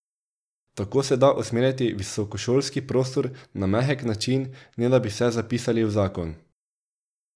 Tako se da usmerjati visokošolski prostor na mehek način, ne da bi vse zapisali v zakon.